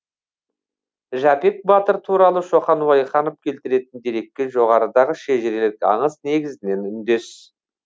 жәпек батыр туралы шоқан уәлиханов келтіретін дерекке жоғарыдағы шежірелік аңыз негізінен үндес